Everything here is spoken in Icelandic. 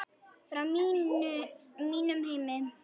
Frá mínum heimi.